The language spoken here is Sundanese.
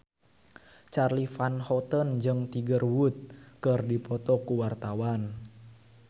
Charly Van Houten jeung Tiger Wood keur dipoto ku wartawan